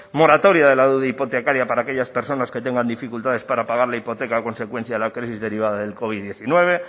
moratoria de la deuda hipotecaria para aquellas personas que tengan dificultades para pagar la hipoteca a consecuencia de la crisis derivada de la covid hemeretzi